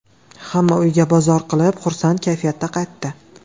Hamma uyiga bozor qilib, xursand kayfiyatda qaytdi.